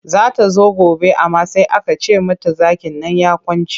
Za ta zo gobe amma sai aka ce mata zakin nan ya kwance.